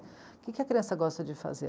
O que a criança gosta de fazer?